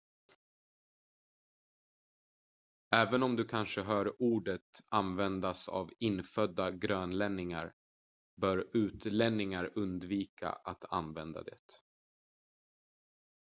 även om du kanske hör ordet användas av infödda grönlänningar bör utlänningar undvika att använda det